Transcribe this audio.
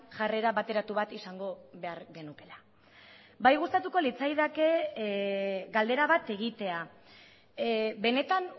jarrera bateratu bat izango behar genukeela bai gustatuko litzaidake galdera bat egitea benetan